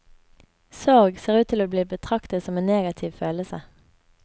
Sorg ser ut til å bli betraktet som en negativ følelse.